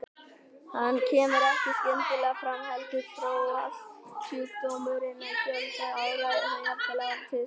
Hún kemur ekki skyndilega fram heldur þróast sjúkdómurinn í fjölda ára eða jafnvel áratugum saman.